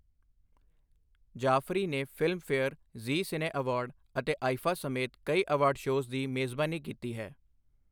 ਜਾਫਰੀ ਨੇ Filmfare, Zee Cine award ਅਤੇ IIFA ਸਮੇਤ ਕਈ ਅਵਾਰਡ ਸ਼ੋਅ ਦੀ ਮੇਜ਼ਬਾਨੀ ਕੀਤੀ ਹੈ।